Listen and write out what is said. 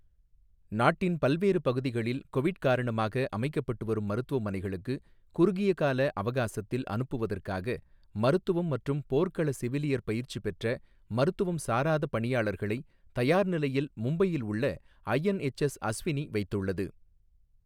நாட்டின் பல்வேறு பகுதிகளில் கொவிட் காரணமாக அமைக்கப்பட்டுவரும் மருத்துவமனைகளுக்கு குறுகிய கால அவகாசத்தில் அனுப்புவதற்காக மருத்துவம் மற்றும் போர்க்கள செவிலியர் பயிற்சி பெற்ற மருத்துவம் சாராத பணியாளர்களை தயார் நிலையில் மும்பையில் உள்ள ஐஎன்எச்எஸ் அஸ்வினி வைத்துள்ளது.